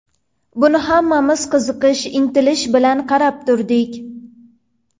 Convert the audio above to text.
Buni hammamiz qiziqish, intilish bilan qarab turdik.